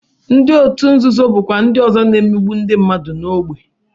Ndị otu nzuzo bụkwa ndị ọzọ na-emegbu ndị mmadụ n'ógbè